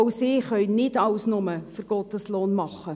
Auch sie können nicht alles nur für einen Gotteslohn tun.